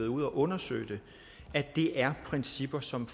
ude at undersøge det at det er principper som